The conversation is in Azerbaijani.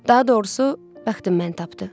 Daha doğrusu, bəxtim məni tapdı.